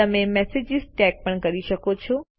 તમે messages tag પણ કરી શકો છો